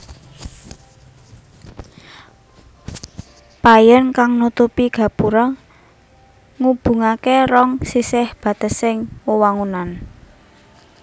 Payon kang nutupi gapura ngubungaké rong sisih batesing wewangunan